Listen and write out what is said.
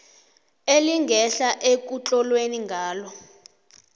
elingehla ekutlolwe ngalo